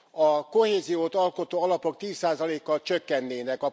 A kohéziót alkotó alapok 10 százalékkal csökkennének.